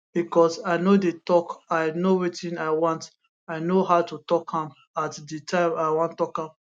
becos i no dey tok i know wetin i want i know how to tok am at di time i wan tok am